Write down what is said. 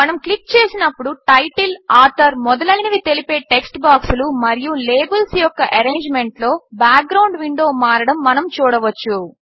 మనము క్లిక్ చేసినప్పుడు title author మొదలైనవి తెలిపే టెక్ట్ బాక్సులు మరియు లేబిల్స్ యొక్క ఎరేంజ్మెంట్లో బ్యాక్గ్రౌండ్ విండో మారడము మనము చూడవచ్చు